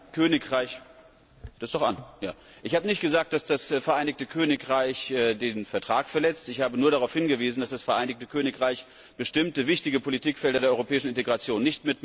Herr Präsident! Ich habe nicht gesagt, dass das Vereinigte Königreich den Vertrag verletzt. Ich habe nur darauf hingewiesen, dass das Vereinigte Königreich bestimmte wichtige Politikfelder der europäischen Integration nicht mitmacht, so z.